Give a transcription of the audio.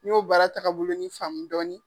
N y'o baara tagabolonin faamu dɔɔni.